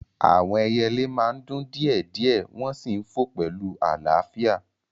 Àwọn ẹyẹlé máa ń dún díẹ̀ díẹ̀ wọ́n sì ń fò pẹ̀lú àlàáfíà